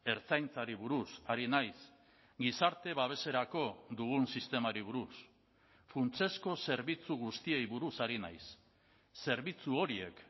ertzaintzari buruz ari naiz gizarte babeserako dugun sistemari buruz funtsezko zerbitzu guztiei buruz ari naiz zerbitzu horiek